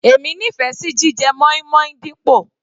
Èmi nífẹ̀ẹ́ sí jíjẹ moin-moin dípò.